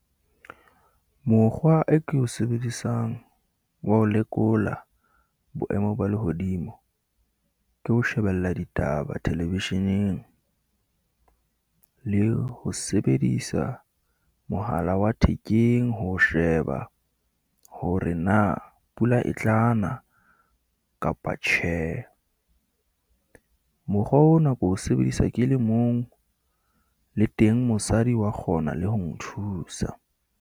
Mokgwa e ko o sebedisang wa ho lekola boemo ba lehodimo, ke ho shebella ditaba thelevisheneng, le ho sebedisa mohala wa thekeng, ho sheba hore na pula e tla na kapa tjhe. Mokgwa o nako o sebedisa ke le mong, le teng mosadi wa kgona le ho nthusa.